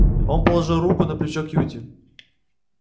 он положил руку на плечо кьюти